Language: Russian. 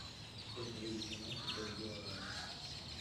сколько будет на наши пять гуарани